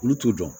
Olu t'u dɔn